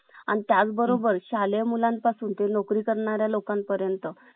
आणि त्याचबरोबर शालेय मुलांचा नोकरी करणारा लोकांपर्यंत